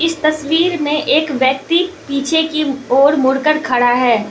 इस तस्वीर में एक व्यक्ति पीछे की ओर मुड़ कर खड़ा है।